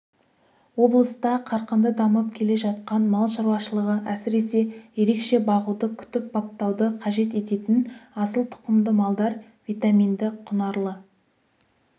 облыста қарқынды дамып келе жатқан мал шаруашылығы әсіресе ерекше бағуды күтіп-баптауды қажет ететін асыл тұқымды малдар витаминді құнарлы